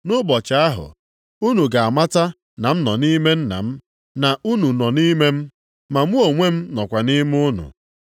Nʼụbọchị ahụ, unu ga-amata na m nọ nʼime Nna m na unu nọ nʼime m, na mụ onwe m nọkwa nʼime unu.